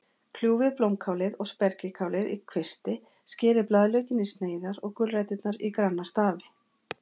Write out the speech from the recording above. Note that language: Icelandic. Kljúfið blómkálið og spergilkálið í kvisti, skerið blaðlaukinn í sneiðar og gulræturnar í granna stafi.